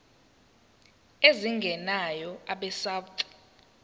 lwezimali ezingenayo abesouth